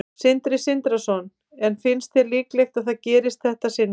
Sindri Sindrason: En finnst þér líklegt að það gerist í þetta sinn?